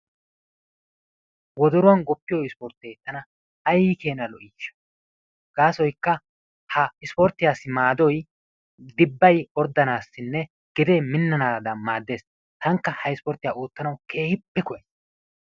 Woddoruwan guppiyo ispporttee tana aykkenaa lo"isha, gaasoykka ha ispportyiyassi maadoy diphay oorddanaassinne gedee minannaadan maaddees. Taanikka ha ispportyiya oottanawu keehippe koyays.